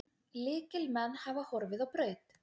Lykilmenn hafa horfið á braut.